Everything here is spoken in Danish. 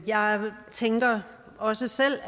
jeg tænker også selv